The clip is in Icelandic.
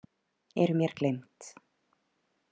Eru mér gleymd.